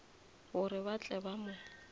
gore ba tle ba mo